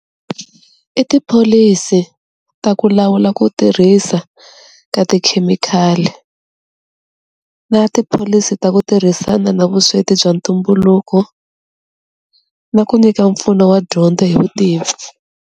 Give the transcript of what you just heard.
I tipholisi ta ku lawula ku tirhisa ka tikhemikhali, na tipholisi ta ku tirhisana na vusweti bya ntumbuluko, na ku nyika mpfuno wa dyondzo hi vutivi.